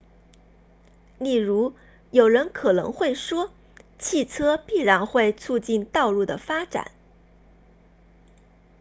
例如有人可能会说汽车必然会促进道路的发展